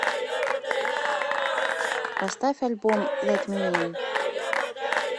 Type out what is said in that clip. поставь альбом лэт ми ин